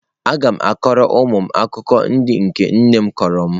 Aga m akọrọ ụmụ m akụkọ ndị nke nne m kọrọ m.